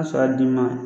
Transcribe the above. A sɔrɔ a d'i ma